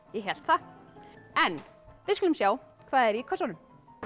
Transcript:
ég hélt það en við skulum sjá hvað er í kössunum